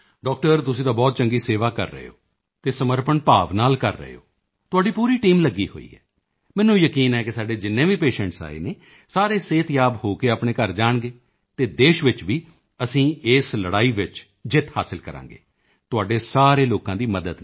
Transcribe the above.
doctor ਤੁਸੀਂ ਤਾਂ ਬਹੁਤ ਚੰਗੀ ਸੇਵਾ ਕਰ ਰਹੇ ਹੋ ਅਤੇ ਸਮਰਪਣ ਭਾਵ ਨਾਲ ਕਰ ਰਹੇ ਹੋ ਤੁਹਾਡੀ ਪੂਰੀ ਟੀਮ ਲੱਗੀ ਹੋਈ ਹੈ ਮੈਨੂੰ ਯਕੀਨ ਹੈ ਕਿ ਸਾਡੇ ਜਿੰਨੇ ਵੀ ਪੇਸ਼ੈਂਟਸ ਆਏ ਹਨ ਸਾਰੇ ਸਿਹਤਯਾਬ ਹੋ ਕੇ ਆਪਣੇ ਘਰ ਜਾਣਗੇ ਅਤੇ ਦੇਸ਼ ਵਿੱਚ ਵੀ ਅਸੀਂ ਇਸ ਲੜਾਈ ਵਿੱਚ ਜਿੱਤਾਂਗੇ ਤੁਹਾਡੇ ਸਾਰੇ ਲੋਕਾਂ ਦੀ ਮਦਦ ਨਾਲ